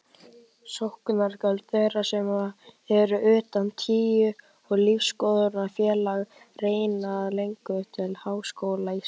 Sóknargjöld þeirra sem eru utan trú- og lífsskoðunarfélaga renna ekki lengur til Háskóla Íslands.